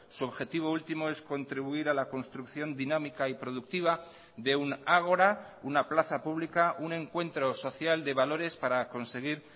su objetivo último es contribuir a la construcción dinámica y productiva de un ágora una plaza pública un encuentro social de valores para conseguir